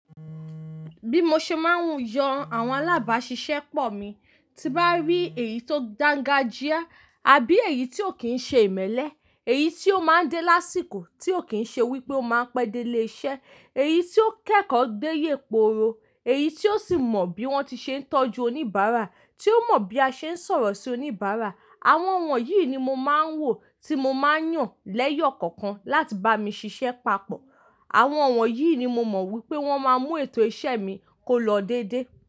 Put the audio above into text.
Bí mo ṣe máa ń yan àwọn alábàáṣiṣẹ́pọ̀ mi, tí n bá rí èyí tó dángájíá àbí èyí tí ò kí ń ṣe ìmẹ́lẹ́, èyí tí ó máa ń dé lásìkò, tí ò kí ń ṣe wípé ó máa ń pẹ́ dé ilé iṣẹ́, èyí tí ó kẹ́kọ̀ọ́ gbéye pooro, èyí tí ó sì mọ bí wón ti ṣe ń tọ́jú oníbàárà, tí ó mọ bí a ṣe ń sọ̀rọ̀ sí oníbàárà. Àwọn wọ̀nyí ni mo máa ń wò tí mo máa ń yàn lẹ́yọ̀ kọ̀ọ̀kan láti bá mi ṣiṣẹ́ papọ̀. Àwọn wọ̀nyí ni mo mọ wípé wọ́n máa mú ètò iṣẹ́ mi kó lọ dédé.